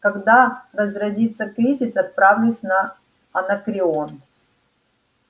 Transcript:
когда разразится кризис отправлюсь на анакреон